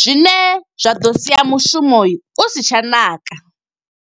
zwine zwa ḓo sia mushumo u si tsha ṋaka.